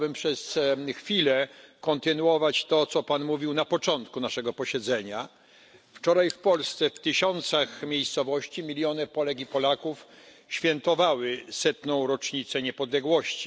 Chciałbym przez chwilę kontynuować to, co Pan mówił na początku naszego posiedzenia. Wczoraj w Polsce w tysiącach miejscowości miliony Polek i Polaków świętowały setną rocznicę niepodległości.